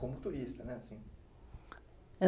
Como turista, né, assim